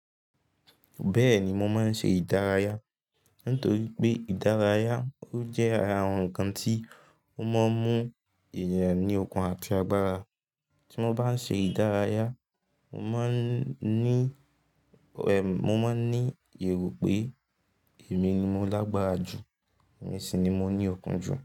Bẹ́ẹ̀ni, mo máa ń ṣe ìdárayá. Nítorí pé ìdárayá ó jẹ́ ara àwọn ǹnkan tí ó máa ń mú èèyàn ní okun àti agbára. Tí mo bá ń ṣe ìdárayá, mo máa ń ní, mo máa ń ní èrò pé èmi ni mo lágbára jù, èmi sì ni mo ní okun jù.